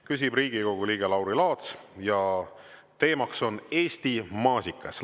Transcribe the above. Küsib Riigikogu liige Lauri Laats ja teemaks on Eesti maasikas.